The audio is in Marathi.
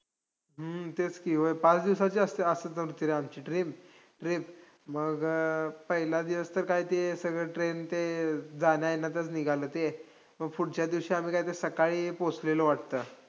हम्म तेच की, पाच दिवसाची असते अशी होती रे आमची train~ trip, मग अं पहिला दिवस तर काय ते सगळं train ते जाण्यायेण्यातच निघालं ते, मग फुडच्या दिवशी आम्ही काय ते सकाळी पोहोचलेलो वाटतं.